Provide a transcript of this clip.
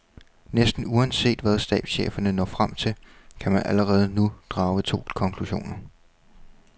Næsten uanset hvad stabscheferne når frem til, kan man allerede nu drage to konklusioner.